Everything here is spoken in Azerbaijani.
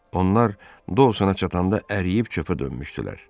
Onlar Dosana çatanda əriyib çöplə dönmüşdülər.